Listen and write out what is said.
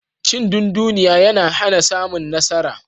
Cindunduniya yana hana samun nasara.